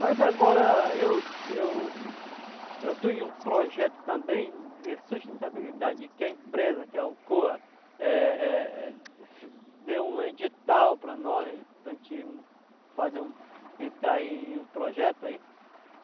Mas agora eu eu eu tenho um projeto também de sustentabilidade que a empresa, que é a Ocoa, é é é deu um edital para nós, para a gente fazer um, entrar em um projeto aí.